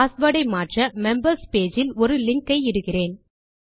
password ஐ மாற்ற members page இல் ஒரு லிங்க் ஐ இடுகிறேன்